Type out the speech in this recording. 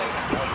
Qapı.